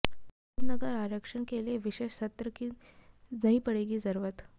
धनगर आरक्षण के लिए विशेष सत्र की नहीं पड़ेगी जरूरत